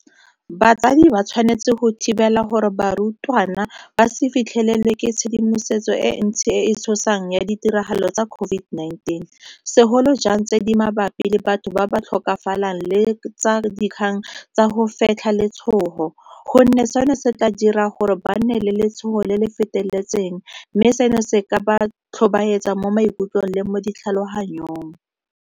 Batsadi ba tshwanetse go thibela gore barutwana ba se fitlhelelwe ke tshedimosetso e ntsi e e tshosang ya ditiragalo tsa COVID-19, segolo jang tse di mabapi le batho ba ba tlhokafalang le tsa dikgang tsa go fetlha letshogo, gonne seno se tla dira gore ba nne le letshogo le le feteletseng mme seno se ka ba tlhobaetsa mo maikutlong le mo ditlhaloganyong.